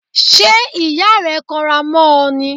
Ṣé ìyá rẹ kanra mọ́ ọ ni?